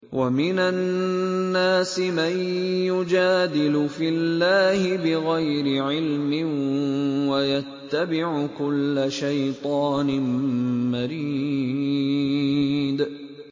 وَمِنَ النَّاسِ مَن يُجَادِلُ فِي اللَّهِ بِغَيْرِ عِلْمٍ وَيَتَّبِعُ كُلَّ شَيْطَانٍ مَّرِيدٍ